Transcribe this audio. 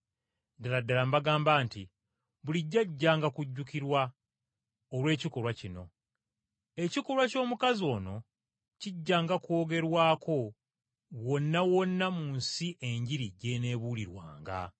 Ddala ddala mbagamba nti, bulijjo ajjanga kujjukirwa olw’ekikolwa kino. Ekikolwa ky’omukazi ono kijjanga kwogerwako wonna wonna mu nsi Enjiri gy’eneebuulirwanga.”